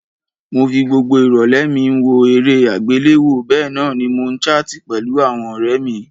Mo fi gbogbo ìrọ̀lẹ́ mi n wo eré àgbéléwo bénan ni mo n chart pẹ̀lu àwon ọ̀rẹ mí